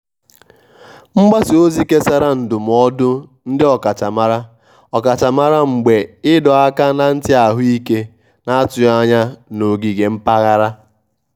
mgbasa ozi kesara ndụmọdụ ndị ọkachamara ọkachamara mgbe ịdọ aka na ntị ahụike na-atụghị anya na ogige mpaghara.